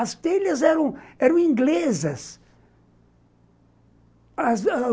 As telhas eram inglesas.